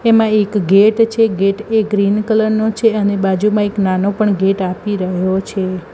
એમાં એક ગેટ છે ગેટ એ ગ્રીન કલર નો છે અને બાજુમાં એક નાનો પણ ગેટ આપી રહ્યો છે.